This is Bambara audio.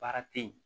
Baara tɛ ye